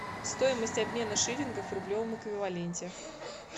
стоимость обмена шиллингов в рублевом эквиваленте